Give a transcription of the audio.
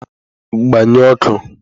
Gbanyi ọkụ!